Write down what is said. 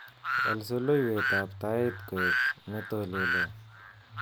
Wal soloiwetab tait koek netolelo